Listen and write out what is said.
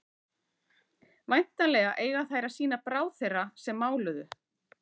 væntanlega eiga þær að sýna bráð þeirra sem máluðu